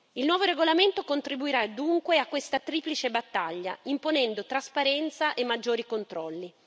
Il nuovo regolamento contribuirà dunque a questa triplice battaglia, imponendo trasparenza e maggiori controlli.